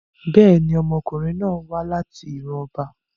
Bẹ́ẹ̀ni, ọmọkunrin náà wa lati iran ọba